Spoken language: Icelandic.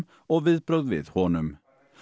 og viðbrögð við honum